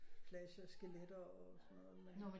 Flasher skeletter og sådan noget men